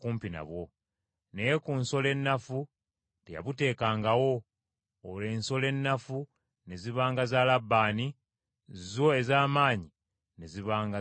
Naye ku nsolo ennafu teyabutekangawo. Olwo ensolo ennafu ne zibanga za Labbaani, zo ez’amaanyi ne zibanga za Yakobo.